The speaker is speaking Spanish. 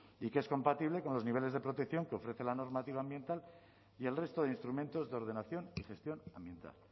y que es compatible con los niveles de protección que ofrece la normativa ambiental y el resto de instrumentos de ordenación y gestión ambiental